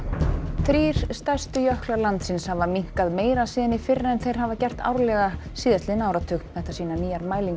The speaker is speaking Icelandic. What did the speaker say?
þrír stærstu jöklar landsins hafa minnkað meira síðan í fyrra en þeir hafa gert árlega síðastliðinn áratug þetta sýna nýjar mælingar